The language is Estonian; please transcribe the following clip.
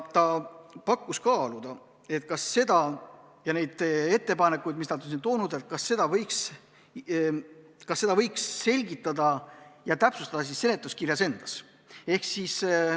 Ta palus kaaluda, kas neid ettepanekuid, mis nad on siin toonud, võiks selgitada ja täpsustada seletuskirjas.